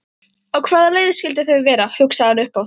Á hvaða leið skyldu þau vera? hugsaði hann upphátt.